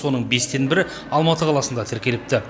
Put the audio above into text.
соның бестен бірі алматы қаласында тіркеліпті